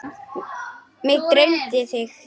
Mig dreymdi þig.